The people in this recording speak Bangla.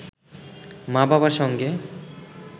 মা-বাবার সঙ্গে